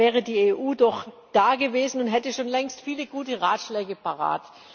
Da wäre die EU doch dagewesen und hätte schon längst viele gute Ratschläge parat.